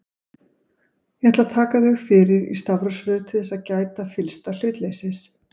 Ég ætla að taka þau fyrir í stafrófsröð til þess að gæta fyllsta hlutleysis.